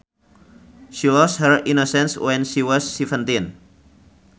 She lost her innocence when she was seventeen